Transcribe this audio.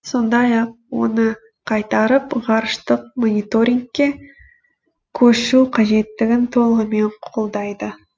сондай ақ оны қайтарып ғарыштық мониторингке көшу қажеттігін толығымен қолдайды